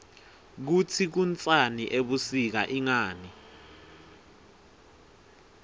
kutsi kunsani ebusika ingani